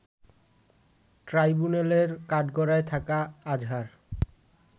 ট্রাইব্যুনালের কাঠগড়ায় থাকা আজহার